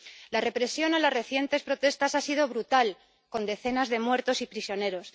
La represión en las recientes protestas ha sido brutal, con decenas de muertos y prisioneros.